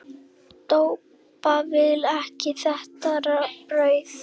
Doppa vill ekki þetta brauð.